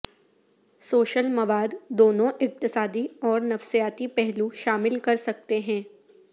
social مواد دونوں اقتصادی اور نفسیاتی پہلو شامل کر سکتے ہیں